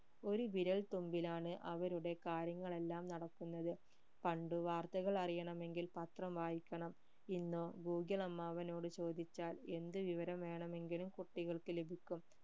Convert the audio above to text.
ഒരു വിരൽ തുമ്പിലാണ് അവരുടെ കാര്യങ്ങൾ എല്ലാം നടക്കുന്നത് പണ്ടു വാർത്തകൾ അറിയണമെങ്കിൽ പത്രം വായിക്കണം ഇന്നോ ഗൂഗിൾ അമ്മാവനോട് ചോദിച്ചാൽ എന്ത് വിവരം വേണമെങ്കിലും കുട്ടികൾക്ക് ലഭിക്കും